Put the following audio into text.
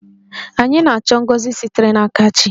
Anyị na-achọ ngọzi sitere n'aka chi.